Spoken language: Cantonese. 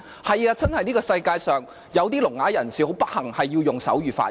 是的，世界上的確有些聾啞人士很不幸，需要用手語發言。